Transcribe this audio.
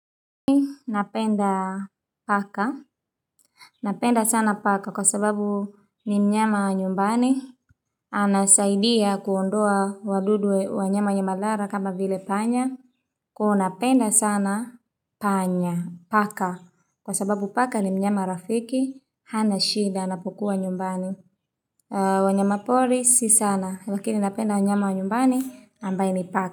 Mi napenda paka Napenda sana paka kwa sababu ni mnyama wa nyumbani Anasaidia kuondoa wadudu wanyama wenye madhara kama vile panya kuwa napenda sana panya paka Kwa sababu paka ni mnyama rafiki hana shida anapokuwa nyumbani wanyama pori si sana lakini napenda mnyama wa nyumbani ambaye ni paka.